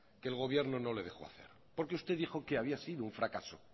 que el gobierno no le dejó hacer porque usted dijo que había sido un fracaso